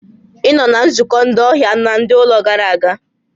Ị nọ na nzukọ ndị ọhịa na ndị ụlọ gara aga?